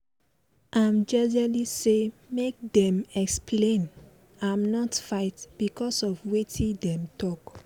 dem dey tough sake of say dem nor let wicked talk talk all d time affect dem